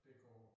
Det går